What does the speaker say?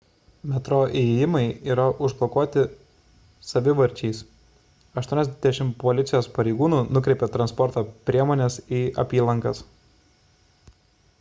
metro įėjimai užblokuoti savivarčiais 80 policijos pareigūnų nukreipė transporto priemones į apylankas